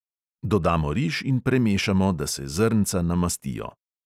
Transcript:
Dodamo riž in premešamo, da se zrnca namastijo.